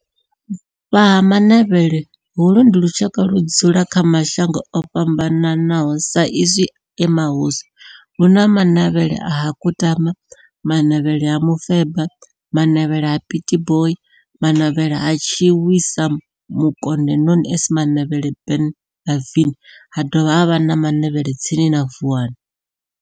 Vha Ha-Manavhela, holu ndi lushaka ludzula kha mashango ofhambanaho sa izwi e mahosi hu na Manavhela ha Kutama, Manavhela ha Mufeba, Manavhela ha Pietboi na Manavhela ha Tshiwisa Mukonde known as Manavhela Benlavin ha dovha havha na Manavhela tsini na Vuwani.